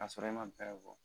K'a sɔrɔ e ma bɛɛ fɔ